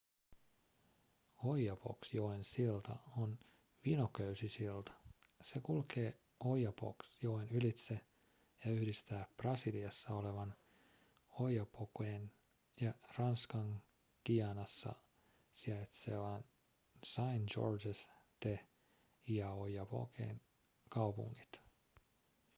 oyapock-joen silta on vinoköysisilta se kulkee oyapock-joen ylitse ja yhdistää brasiliassa olevan oiapoquen ja ranskan guayanassa sijaitsevan saint-georges de l'oyapockin kaupungit